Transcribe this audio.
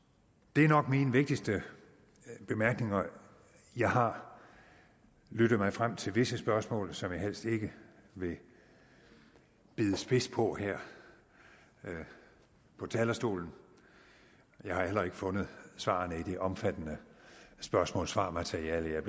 det er nok mine vigtigste bemærkninger jeg har lyttet mig frem til visse spørgsmål som jeg helst ikke vil bide spids på her på talerstolen jeg har heller ikke fundet svarene i det omfattende spørgsmål svar materiale jeg